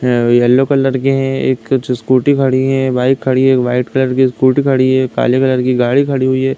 हे yellow colour के है। एक जो स्कूटी खड़ी है बाइक खड़ी है। व्हाइट कलर स्कूटी खड़ी है काले कलर की गाड़ी खड़ी हुई है।